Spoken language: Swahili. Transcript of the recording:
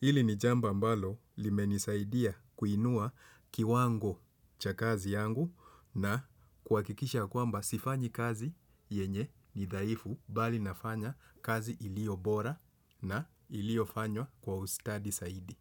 Ili ni jambo ambalo limenisaidia kuinua kiwango cha kazi yangu na kuhakikisha ya kwamba sifanyi kazi yenye ni dhaifu bali nafanya kazi ilio bora na ilio fanywa kwa ustadi zaidi.